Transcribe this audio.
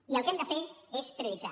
i el que hem de fer és prioritzar